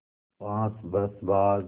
पाँच बरस बाद